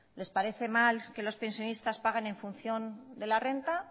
les parece mal que los pensionistas paguen en función de la renta